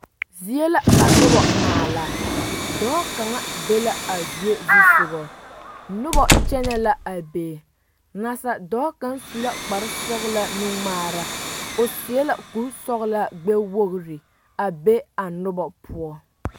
Zie la ka noba a maala dɔɔ kaŋa be la zie zusoga noba kyɛnɛ la a be naasaaldɔɔ kaŋa su la kparesɔglaa nuŋmaara o seɛ kurisɔglaa gbɛwogre a be a noba poɔ.